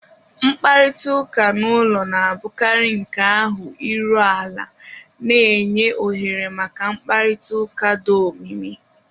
Mkparịta ụka n'ụlọ na-abụkarị nke ahụ iru ala, na-enye ohere maka mkparịta ụka do omimi